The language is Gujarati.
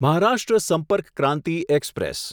મહારાષ્ટ્ર સંપર્ક ક્રાંતિ એક્સપ્રેસ